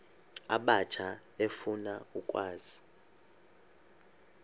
abatsha efuna ukwazi